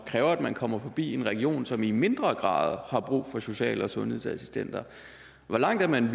kræver at man kommer forbi en region som i mindre grad har brug for social og sundhedsassistenter hvor langt er man